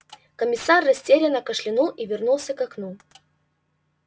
комиссар растерянно кашлянул и вернулся к окну